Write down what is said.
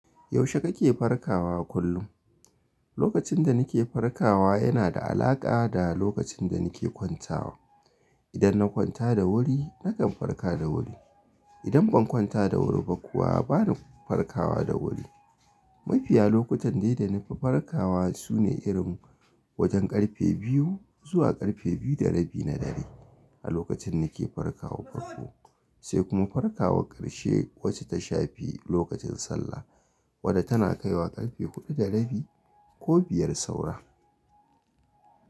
Yaushe kake farkawa kullum? Lokacin da nake farkawa, yana da alaƙa da lokacin da nake kwantawa. Idan na kwanta da wuri, nakan farka da wuri. Idan ban kwanta da wuri ba kuwa bani farkawa da wuri. Mafiya lokutan dai da na fi farkawa, sune irin wajen karfe biyu, zuwa karfe biyu da rabi na dare, a lokacin nake farkawa farko, sai kuma farkawa ƙarshe wacce ta shafi lokacin sallah. Wadda tana kaiwa ƙarfe huɗu da rabi, ko biyar saura.